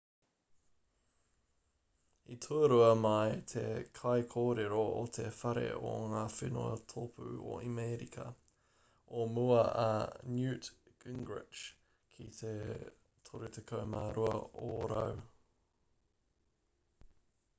i tuarua mai te kaikōrero o te whare o ngā whenua tōpū o amerika o mua a newt gingrich ki te 32 ōrau